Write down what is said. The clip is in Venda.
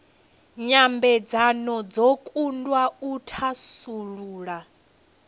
nyambedzano dzo kundwa u thasulula